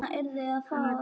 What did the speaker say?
Sú hefur dressað sig upp!